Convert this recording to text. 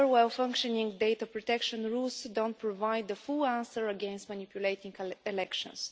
However, well functioning data protection rules do not provide the full answer against manipulating elections.